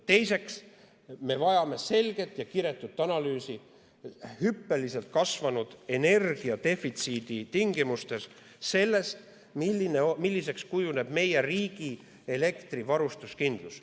Teiseks, me vajame selget ja kiretut analüüsi hüppeliselt kasvanud energiadefitsiidi tingimustes selle kohta, milliseks kujuneb meie riigi elektrivarustuskindlus.